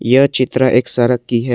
यह चित्र एक सड़क की है।